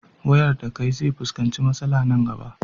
wayardakai zefuskanci matsala Nan gaba